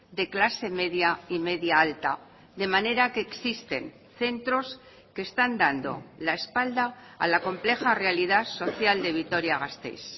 de clase media y media alta de manera que existen centros que están dando la espalda a la compleja realidad social de vitoria gasteiz